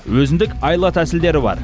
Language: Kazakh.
өзіндік айла тәсілдер бар